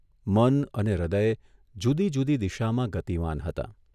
મન અને હૃદય જુદીજુદી દિશામાં ગતિમાન હતાં.